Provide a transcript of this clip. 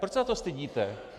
Proč se za to stydíte?